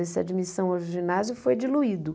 Esse admissão ao ginásio foi diluído.